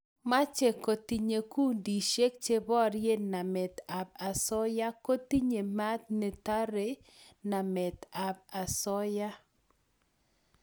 mache kotinye kundishek che borie namet ab asoya kotinye mat ne tarei namet ab asoya